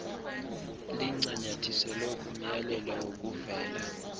lincanyathiselwe kumyalelo wokuvela